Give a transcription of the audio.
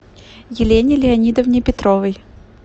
елене леонидовне петровой